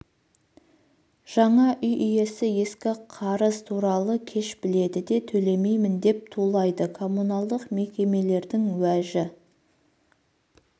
жаңа үй иесі ескі қарыз туралы кеш біледі біледі де төлемеймін деп тулайды коммуналдық мекемелердің уәжі